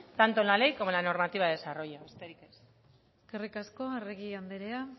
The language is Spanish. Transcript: tanto en la ley como en la normativa de desarrollo besterik ez eskerrik asko arregi andrea